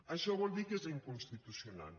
això vol dir que és inconstitucional